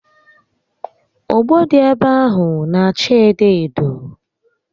Ogbo dị ebe ahụ n'acha edo edo